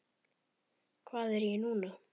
Hvað er ég núna?